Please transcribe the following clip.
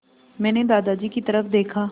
मैंने दादाजी की तरफ़ देखा